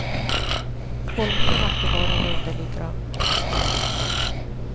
Håll med om att det var en underlig dröm.